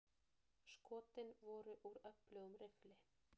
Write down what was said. Skotin voru úr öflugum riffli.